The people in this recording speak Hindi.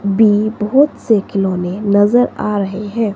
भी बोहोत से खिलौने नजर आ रहे हैं।